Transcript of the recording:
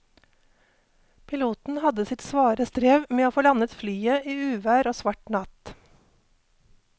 Piloten hadde sitt svare strev med å få landet flyet i uvær og svart natt.